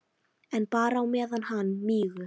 En bara á meðan hann mígur.